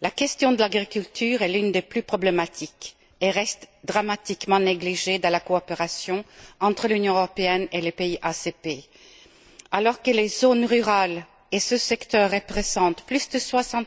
La question de l'agriculture est l'une des plus problématiques et reste dramatiquement négligée dans la coopération entre l'Union européenne et les pays ACP. Alors que les zones rurales et ce secteur représentent plus de 60